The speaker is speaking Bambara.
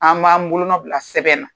An b'an bolonɔn bila sɛbɛn na.